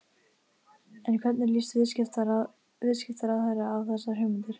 En hvernig líst viðskiptaráðherra á þessar hugmyndir?